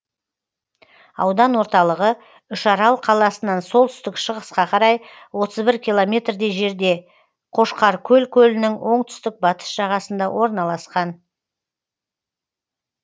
аудан орталығы үшарал қаласынан солтүстік шығысқа қарай отыз бір километрдей жерде қошқаркөл көлінің оңтүстік батыс жағасында орналасқан